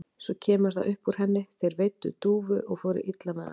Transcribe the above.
Svo kemur það upp úr henni: Þeir veiddu dúfu og fóru illa með hana.